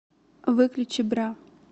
выключи бра